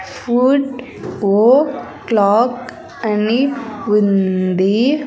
ఓ clock అని ఉంది.